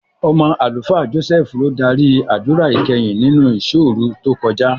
Ọmọ Àlùfáà Jọ́sẹ́ẹ́fù ló dárí àdúrà ìkẹyìn nínú ìṣọ́òru tó kọjá.